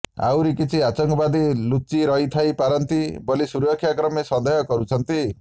ଆଉ କିଛି ଆତଙ୍କବାଦୀ ଲୁଚି ଥାଇପାରନ୍ତି ବୋଲି ସୁରକ୍ଷାକର୍ମୀ ସନ୍ଦେହ କରୁଛନ୍ତି